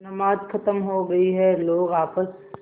नमाज खत्म हो गई है लोग आपस